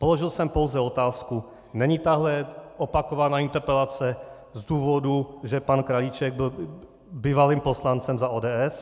Položil jsem pouze otázku - není tahle opakovaná interpelace z důvodu, že pan Krajíček byl bývalým poslancem za ODS?